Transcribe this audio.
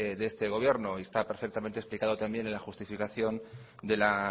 de este gobierno y está perfectamente explicado también en la justificación de la